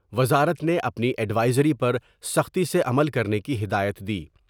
وزارت نے اپنی ایڈوئزری پر سختی سے عمل کرنے کی ہدایت دی ۔